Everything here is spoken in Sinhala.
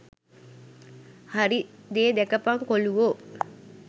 හරි දේ දැකපන් කොලුවෝ.